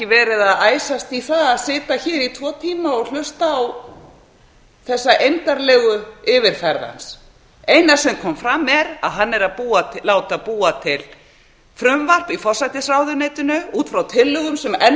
verið að æsast í það að sitja hér í tvo tíma og hlusta á þessa eymdarlegu yfirferð hans það eina sem kom fram er að hann er að láta búa til frumvarp í forsætisráðuneytinu út frá tillögum sem enn